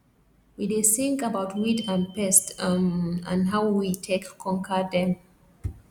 we dey sing about weed and pest um and how we take conquer dem